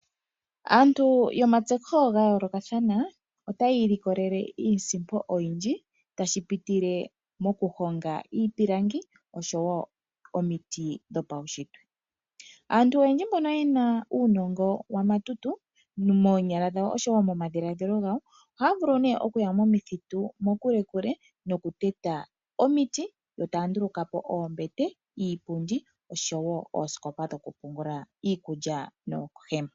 Aantu yomatseyiko gayoolokathana otaya ilikolele iisimpo oyindji tashi pitile mokuhonga iipilangi osho wo omiti dhopaunshitwe. Aantu oyendji mbono ye na uunongo wamatutu moonyala dhawo osho wo momadhiladhilo gawo ohaya vulu okuya momithitu mokulekule nokuteta omiti yo taya nduluka po oombete, iipundi osho wo oosikopa dhokupungula iikulya noohema.